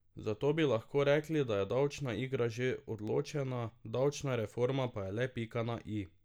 Zato bi lahko rekli, da je davčna igra že odločena, davčna reforma pa je le pika na i.